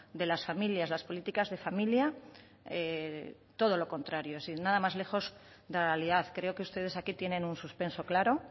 de las familias las políticas de familia todo lo contrario es decir nada más lejos de la realidad creo que ustedes aquí tienen un suspenso claro